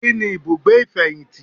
Kíni ibùgbé ìfẹ̀yìntì